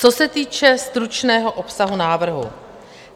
Co se týče stručného obsahu návrhu.